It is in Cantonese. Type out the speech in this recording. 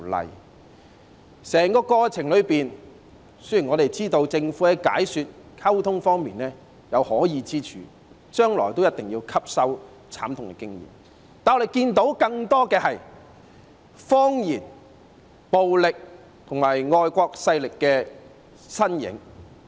在整個過程中，雖然我們知道政府在解說和溝通方面有可議之處，將來也一定要吸收這慘痛經驗；但我們看到更多的是謊言、暴力和外國勢力的身影。